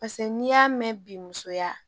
Paseke n'i y'a mɛn bi musoya